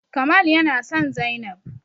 Kamal yana son zainab